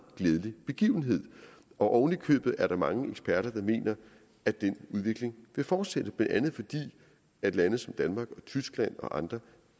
glædelig begivenhed ovenikøbet er der mange eksperter der mener at den udvikling vil fortsætte blandt andet fordi lande som danmark tyskland og andre